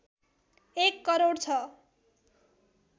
१ करोड छ